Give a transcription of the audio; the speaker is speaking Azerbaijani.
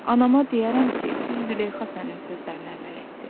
Anama deyərəm ki, bir Züleyxa sənin sözlərinə əməl etdi.